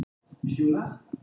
Er það skilið?!